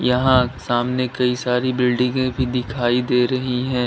यहां सामने कई सारी बिल्डिंगे भी दिखाई दे रही हैं।